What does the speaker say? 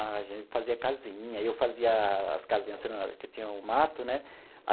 a gente fazia casinha, eu fazia as casinhas, porque tinha o mato, né?